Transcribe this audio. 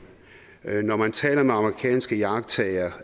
når man taler med amerikanske iagttagere